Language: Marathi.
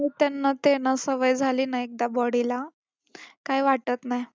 त्यांना ते ना सवय झाली ना एकदा body ला, काय वाटत नाही.